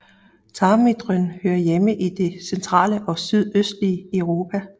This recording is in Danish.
Tarmvridrøn hører hjemme i det centrale og sydøstlige Europa